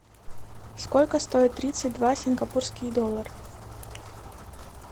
сколько стоит тридцать два сингапурских доллара